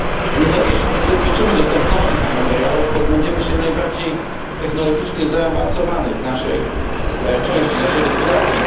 Jeśli nie zabezpieczymy dostępności tych materiałów, pozbędziemy się najbardziej technologicznie zaawansowanej części naszej gospodarki.